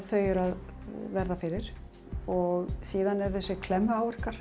þau eru að verða fyrir og síðan eru þessir